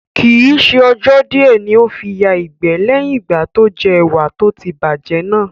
Kii ṣe ọjọ́ di ẹ ní ó fi yà ìgbẹ́ leyin ìgbà tó jẹ́ ẹwà tó ti bá jẹ́ náà